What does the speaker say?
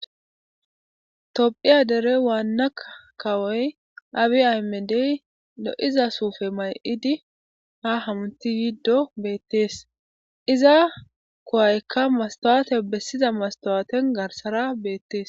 Tophphiya dere waanna kawoy Abi Aymedey lo'iza suufe mayidi ha hamuti yiddi beetees. Iza kuwaykka mastawaten bessiza mastawaaten garsara beetees.